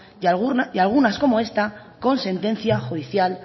y algunas como esta con sentencia judicial